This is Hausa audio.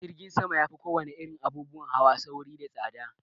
Jirgin sama ya fi ko wane irin abubuwan hawa sauri da tsaɗa.